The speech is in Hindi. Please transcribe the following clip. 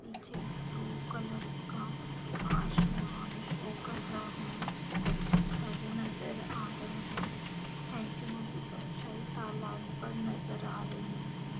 पीछे ब्लू कलर का आसमान शो कर रहा है कुछ घर नजर आ रहे है ऐन्टेना की परछाई तलाब पर नजर आ रही है।